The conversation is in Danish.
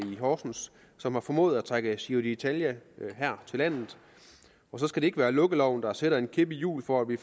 horsens som har formået at trække giro ditalia her til landet og så skal det ikke være lukkeloven der stikker en kæp i hjulet for at vi